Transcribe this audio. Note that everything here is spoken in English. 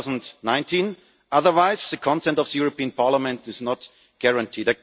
in 2019 otherwise the consent of the European Parliament is not guaranteed.